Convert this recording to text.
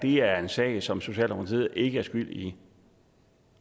er en sag som socialdemokratiet ikke er skyld i